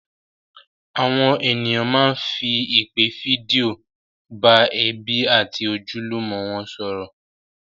Àwọn ènìyàn máá ń fi ìpè fídíò bá ẹbí àti ojúlùmọ̀ wọn sọ̀rọ̀